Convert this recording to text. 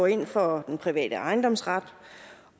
ind for den private ejendomsret